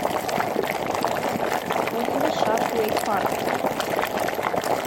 отзывы шарк вэйк парк